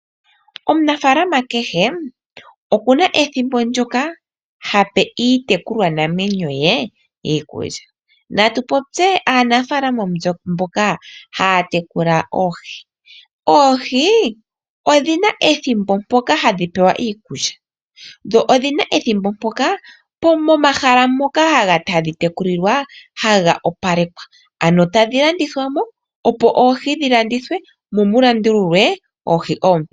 Omunafaalama kehe, oku na ethimbo ndyoka ha pe iitekulwanamwenyo ye iikulya. Natu popye aanafaalama mboka ha ya tekula oohi. Oohi odhi na ethimbo mpoka ha dhi pewa iikulya, dho odhina ethimbo mpoka momahala ngoka ha dhi tekulilwa ha ga opalekwa, ano tadhi landithwa mo opo oohi dhi landithwe momu landululwe oohi oompe.